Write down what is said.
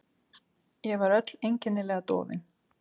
Ég var öll einkennilega dofin.